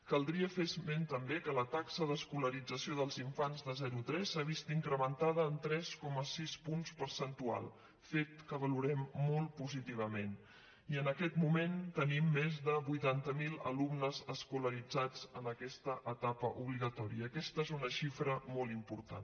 caldria fer esment també que la taxa d’escolarització dels infants de zero tres s’ha vist incrementada en tres coma sis punts percentuals fet que valorem molt positivament i en aquest moment tenim més de vuitanta miler alumnes escolaritzats en aquesta etapa no obligatòria aquesta és una xifra molt important